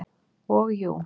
Og jú.